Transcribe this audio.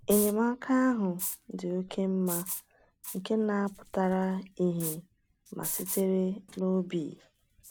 Enyemaka ahụ dị oke mma—nke na-apụtara ìhè ma sitere n’obi!